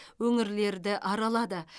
өңірлерді аралады